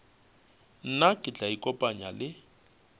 nna ke tla ikopanya le